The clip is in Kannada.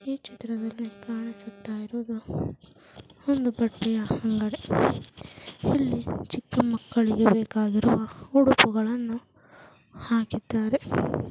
ಈ ಚಿತ್ರದಲ್ಲಿ ಕಾಣಿಸುತ್ತಾ ಇರುವುದು ಒಂದು ಬಟ್ಟೆಯ ಅಂಗಡಿ ಇಲ್ಲಿ ಚಿಕ್ಕ ಮಕ್ಕಳಿಗೆ ಬೇಕಾಗಿರುವ ಉಡುಪುಗಳನ್ನು ಹಾಕಿದ್ದಾರೆ.